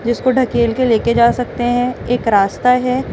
जिसको ढ़केल के लेके जा सकते हैं एक रास्ता हैं।